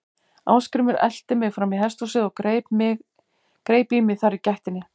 Ásgrímur elti mig fram í hesthúsið og greip í mig þar í gættinni.